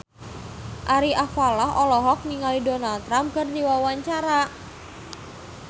Ari Alfalah olohok ningali Donald Trump keur diwawancara